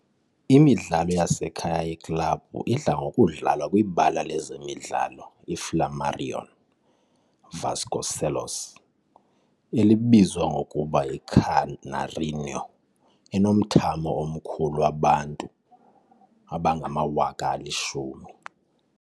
Imidlalo yasekhaya yeklabhu idla ngokudlalwa kwibala lezemidlalo iFlamarion Vasconcelos, elibizwa ngokuba yiCanarinho enomthamo omkhulu wabantu abangama-10,000.